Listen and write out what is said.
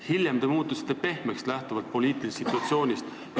Hiljem te muutusite poliitilisest situatsioonist lähtuvalt pehmeks.